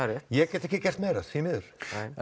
ég get ekki gert meira því miður